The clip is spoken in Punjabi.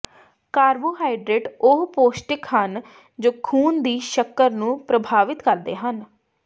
ਕਾਰਬੋਹਾਈਡਰੇਟ ਉਹ ਪੌਸ਼ਟਿਕ ਹਨ ਜੋ ਖੂਨ ਦੀ ਸ਼ੱਕਰ ਨੂੰ ਪ੍ਰਭਾਵਤ ਕਰਦੇ ਹਨ